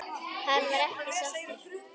Hann var ekki sáttur.